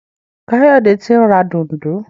Kayode t'in rà Dùndú.